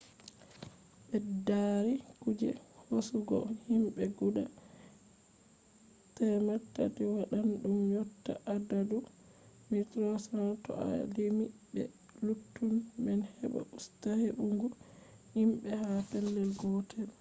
ɓeddari kuje hosugo himɓe guda 300 waɗan ɗum yotta adadu 1300 to a limi be luttuɗum man heɓa usta hebbungo himɓe ha pellel gotel